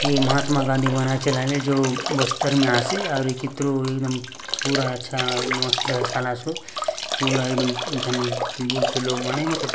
ये महात्मा गांधी वनांचल जो बस्तर में आसे अउर ये कितरो एकदम पूरा अच्छा मस्त दर्सलासोत पूरा एकदम बुलते लोग मने --